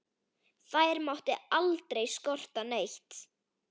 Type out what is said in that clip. Þær mátti aldrei skorta neitt.